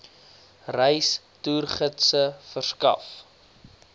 reis toergidse verskaf